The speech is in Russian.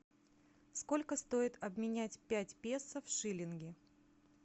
сколько стоит обменять пять песо в шиллинги